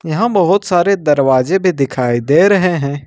यहां बहोत सारे दरवाजे भी दिखाई दे रहे हैं।